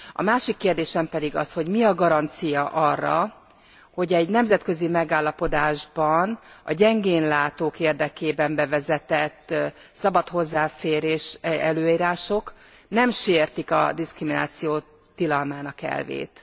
A másik kérdésem pedig az, hogy mi a garancia arra, hogy egy nemzetközi megállapodásban a gyengénlátók érdekében bevezetett szabad hozzáférésre vonatkozó előírások nem sértik e a diszkrimináció tilalmának elvét?